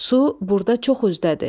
Su burda çox üzdədir.